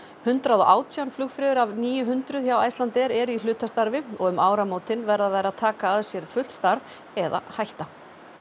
hundrað og átján flugfreyjur af níu hundruð hjá Icelandair eru í hlutastarfi og um áramótin verða þær að taka að sér fullt starf eða hætta